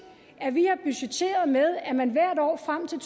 at vi har budgetteret med at man hvert år frem til